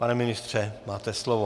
Pane ministře, máte slovo.